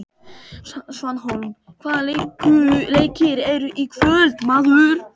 Svanhólm, hvaða leikir eru í kvöld?